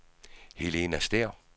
Helena Stæhr